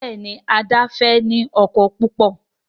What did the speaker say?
Béèni Ada fè ní ọkọ púpọ.